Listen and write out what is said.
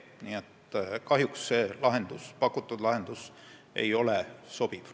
Nii et kahjuks nende pakutud lahendus ei sobi.